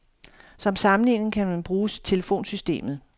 Som sammenligning kan man bruge telefonsystemet.